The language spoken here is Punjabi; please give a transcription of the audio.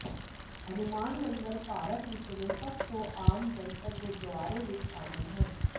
ਹਨੂਮਾਨ ਮੰਦਰਾਂ ਭਾਰਤ ਵਿਚਲੇ ਸਭ ਤੋਂ ਆਮ ਜਨਤਕ ਗੁਰਦੁਆਰੇ ਵਿਚ ਸ਼ਾਮਲ ਹਨ